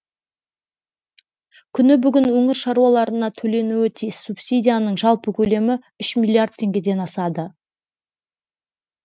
күні бүгін өңір шаруаларына төленуі тиіс субсидияның жалпы көлемі үш миллиард теңгеден асады